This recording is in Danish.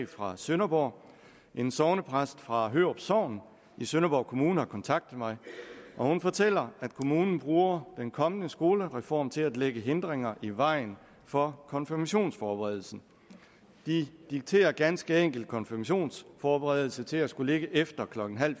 fra sønderborg en sognepræst fra hørup sogn i sønderborg kommune har kontaktet mig og hun fortæller at kommunen bruger den kommende skolereform til at lægge hindringer i vejen for konfirmationsforberedelsen de dikterer ganske enkelt konfirmationsforberedelse til at skulle ligge efter klokken